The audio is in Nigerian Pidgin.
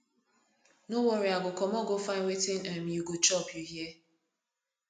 no worry i go comot go find wetin um you go chop you hear